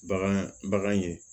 Bagan bagan ye